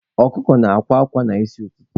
Ọkụkụ na-akwa akwa n'isi ụtụtụ.